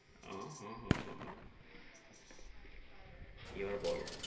আহ আহ আহ আহ কি আর বলো?